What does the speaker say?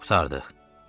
Hə, qurtardıq.